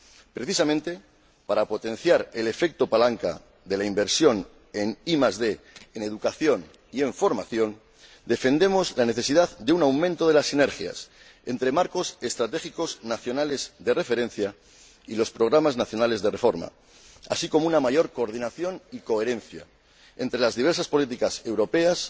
Precisamente para potenciar el efecto palanca de la inversión en ID, en educación y en formación, defendemos la necesidad de un aumento de las sinergias entre los marcos estratégicos nacionales de referencia y los programas nacionales de reforma, así como una mayor coordinación y coherencia entre las diversas políticas europeas,